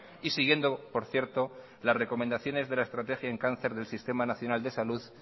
y siguiendo por cierto las recomendaciones de la estrategia en cáncer del sistema nacional de salud